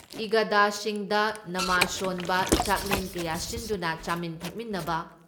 ꯏꯗꯒꯥꯁꯤꯡꯗ ꯅꯃꯥꯖ ꯁꯣꯟꯕ, ꯆꯥꯛꯂꯦꯟ ꯀꯌꯥ ꯁꯤꯟꯗꯨꯅ ꯆꯥꯃꯤꯟ ꯊꯛꯃꯤꯟꯅꯕ